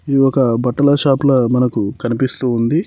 ఒక బట్టల షాప్లా మనకు కనిపిస్తూ ఉంది.